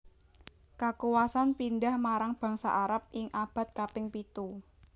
Kakuwasan pindhah marang bangsa Arab ing abad kaping pitu